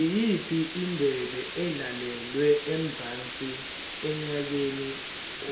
iyiphi indebe edlalelwe emzansi enyakeni